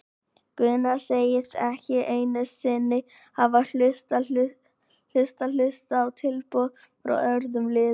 Gunnar segist ekki einu sinni hafa hlustað hlustað á tilboð frá öðrum liðum.